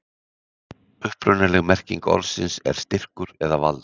Upprunaleg merking orðsins er styrkur eða vald.